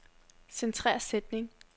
Centrer sætning.